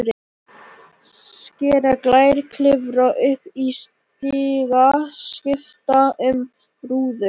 Skera gler, klifra upp í stiga, skipta um rúður.